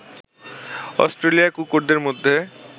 অস্ট্রেলিয়ায় কুকুরদের মধ্যে